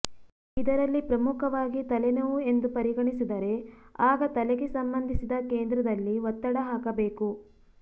ಇದರಲ್ಲಿ ಪ್ರಮುಖವಾಗಿ ತಲೆನೋವು ಎಂದು ಪರಿಗಣಿಸಿದರೆ ಆಗ ತಲೆಗೆ ಸಂಬಂಧಿಸಿದ ಕೇಂದ್ರದಲ್ಲಿ ಒತ್ತಡ ಹಾಕಬೇಕು